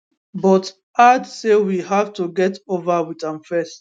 but add say we have to get over wit am fast